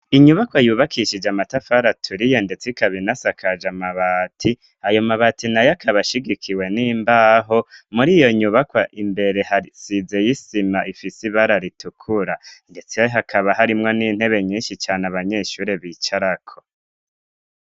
Inyubakwa yubakishije amatafara aturiye ndetse ikabina asakaje amabati ayo mabati nayo akaba ashigikiwe n'imbaho muri iyo nyubaka imbere hasizeyo isima ifise ibara ritukura ndetse hakaba harimwo n'intebe nyishi cane abanyeshure bicarako.